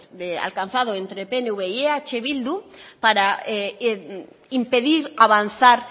alcanzado entre pnv y eh bildu para impedir avanzar